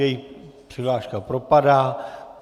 Jejich přihláška propadá.